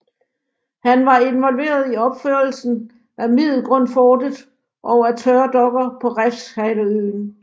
Han var involveret i opførelsen af Middelgrundsfortet og af tørdokker på Refshaleøen